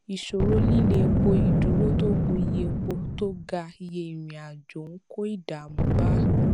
ìṣòro líle epo ìdúró tó gùn iye epo tó ga iye ìrìnàjò ń kó ìdààmú bá